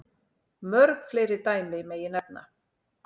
Mörg fleiri dæmi megi nefna.